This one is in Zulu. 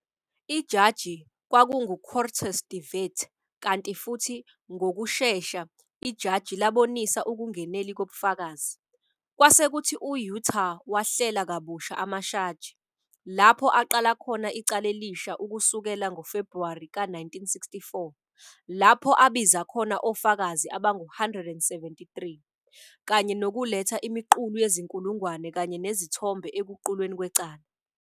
Ijaji kwakungu-Quartus de Wet kanti futhi ngokushesha ijaji labonisa ukungeneli kobufakazi, kwasekuthi uYutar wahlela kabusha amashaji, lapho aqala khona icala elisha ukusukela ngoFebruwari ka 1964, lapho abiza khona ofakazi abangu 173, kanye nokuletha imiqulu yezinkulungwane kanye nezithombe ekuqulweni kwecala.